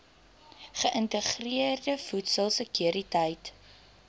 geïntegreerde voedsel sekuriteit